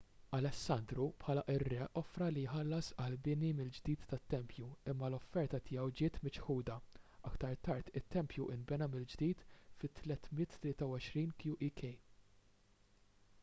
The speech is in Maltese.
alessandru bħala r-re offra li jħallas għall-bini mill-ġdid tat-tempju imma l-offerta tiegħu ġiet miċħuda aktar tard it-tempju nbena mill-ġdid fit-323 qek